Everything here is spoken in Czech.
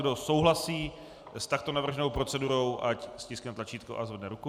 Kdo souhlasí s takto navrženou procedurou, ať stiskne tlačítko a zvedne ruku.